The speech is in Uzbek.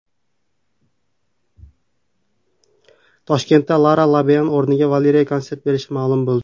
Toshkentda Lara Fabian o‘rniga Valeriya konsert berishi ma’lum bo‘ldi.